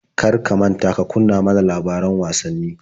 Kar ka manta ka kunna ma na labaran wasanni.